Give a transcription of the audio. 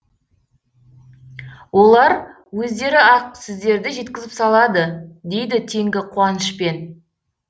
олар өздері ақ сіздерді жеткізіп салады дейді теңгі қуанышпен